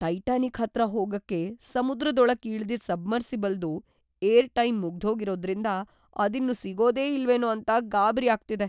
Titanic ಹತ್ರ ಹೋಗಕ್ಕೆ ಸಮುದ್ರದೊಳಕ್‌ ಇಳ್ದಿದ್ ಸಬ್ಮರ್ಸಿಬಲ್‌ದು ಏರ್‌ಟೈಮ್‌ ಮುಗ್ದೋಗಿರೋದ್ರಿಂದ ಅದಿನ್ನು ಸಿಗೋದೇ ಇಲ್ವೇನೋ ಅಂತ ಗಾಬ್ರಿ ಆಗ್ತಿದೆ.